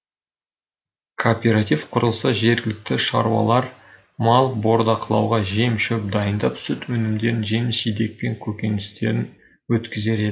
кооператив құрылса жергілікті шаруалар мал бордақылауға жем шөп дайындап сүт өнімдерін жеміс жидек пен көкөністерін өткізер еді